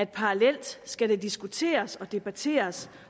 parallelt skal diskuteres og debatteres